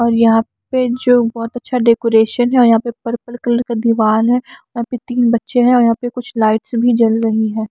और यहाँ पे जो बहुत अच्छा डेकोरेशन है और यहाँ पे पर्पल कलर का दीवाल है यहाँ पे तीन बच्चे हैं और यहाँ पे कुछ लाइट्स भी जल रही हैं।